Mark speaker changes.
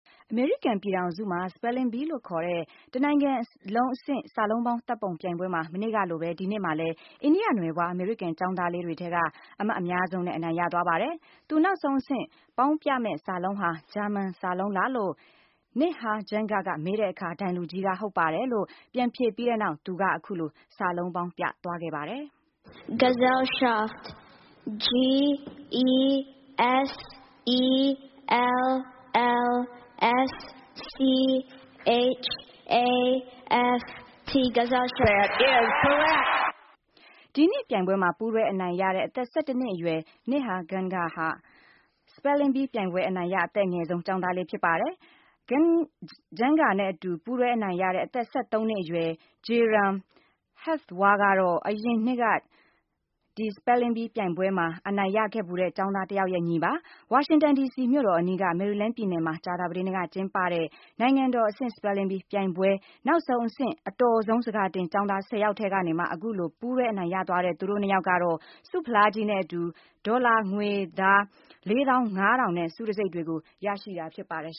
Speaker 1: အမေရိကန်ပြည်ထောင်စုမှာ Spelling Bee လို့ခေါ်တဲ့ တနိုင်လုံးအဆင့် စာလုံးပေါင်း သတ်ပုံပြိုင်ပွဲမှာ မနှစ်ကလိုပဲ ဒီနှစ်မှာလည်း အိန္ဒိယနွယ်ဖွား အမေရိကန် ကျောင်းသားလေးတွေက အမှတ်အများဆုံးနဲ့ အနိုင်ရသွားပါတယ်။ သူနောက်ဆုံးအဆင့်ပေါင်းပြမယ့်စာလုံးဟာ ဂျာမန်စာလုံးလား လို့ Nihar Janga ကမေးတဲ့အခါ - ဒိုင်လူကြီးက - ဟုတ်ပါတယ် လို့ ပြန်ဖြေပြီးတဲ့နောက် သူက အခုလို စာလုံးပေါင်းပြသွားခဲ့ပါတယ်။ Janga "gesellschaft is
Speaker 2: this from
Speaker 3: a German word.?" Judge: “that is
Speaker 1: correct” ဒီနှစ်ပြိုင်ပွဲမှာ ပူးတွဲ အနိုင်ရတဲ့ အသက် ၁၁ နှစ်အရွယ် Nihar Janga ဟာ Spelling Bee ပြိုင်ပွဲအနိုင်ရ အသက်အငယ်ဆုံး ကျောင်းသားလေးပဲ ဖြစ်ပါတယ်။ Janga နဲ့အတူ ပူးတွဲအနိုင်ရတဲ့ အသက် ၁၃ နှစ်အရွယ် Jairam Hathwar ကတော့ အရင်တနှစ်ကျော်က Spelling Bee ပြိုင်ပွဲမှာ အနိုင်ရခဲ့ဖူးတဲ့ ကျောင်းသား တယောက်ရဲ့ ညီပါ။ ဝါရှင်တန်ဒီစီမြို့တော်အနီးက မေရီလန်းပြည်နယ်မှာ ကြာသပတေးနေ့က ကျင်းပတဲ့ နိုင်ငံတော် အဆင့် Spelling Bee ပြိုင်ပွဲ နောက်ဆုံးအဆင့် အတော်ဆုံး ဆန်ကာတင်ကျောင်းသား ၁၀ ယောက်ထဲကနေမှ အခုလို ပူးတွဲ အနိုင်ရသွားတဲ့ သူတို့ နှစ်ယောက်ကတော့ ဆုဖလားကြီးနဲ့အတူ ဒေါ်လာငွေသား ၄၅,၀၀၀ နဲ့ ဆုတံဆိပ်တွေကို ရရှိတာဖြစ်ပါတယ်